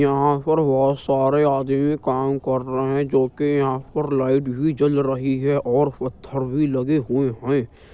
यहां पर बहुत सारे आदमी काम कर रहे हैं जो कि यहां पर लाइट भी जल रही है और पत्थर भी लगे हुए हैं।